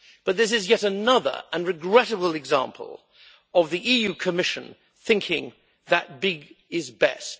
But this is yet another and regrettable example of the EU Commission thinking that big is best.